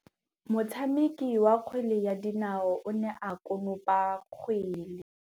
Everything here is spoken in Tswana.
Motshameki wa kgwele ya dinaô o ne a konopa kgwele.